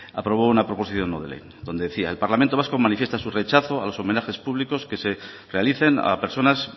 aprobó una proposición no de ley donde decía el parlamento vasco manifiesta su rechazo a los homenajes públicos que se realicen a personas